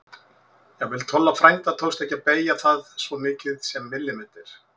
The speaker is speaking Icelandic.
Jafnvel Tolla frænda tókst ekki að beygja það um svo mikið sem millimeter.